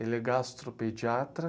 Ele é gastropediatra.